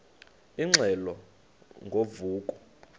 ingxelo ngo vuko